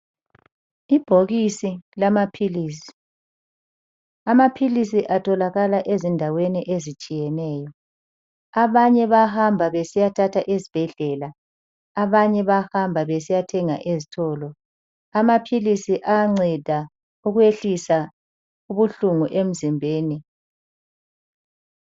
Ibhokisi lamaphilisi, amaphilisi atholakala ezindaweni ezitshiyeneyo. Abanye bayahamba besiyathatha esibhedlela, abanye bayahamba besiyathenga ezitolo. Amaphilisi ayanceda ukwehlisa ubuhlungu emzimbeni.